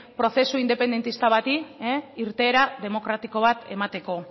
prozesu independentista bati irteera demokratiko bat emateko